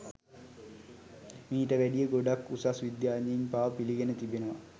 මීට වැඩිය ගොඩක් උසස් විද්‍යාඥයින් පවා පිළිගෙන තිබෙනවා